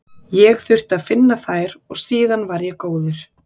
Ég þurfti að finna þær og síðan var ég góður.